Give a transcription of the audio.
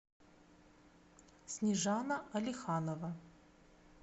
снежана алиханова